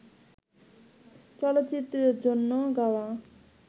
চলচ্চিত্রের জন্য গাওয়া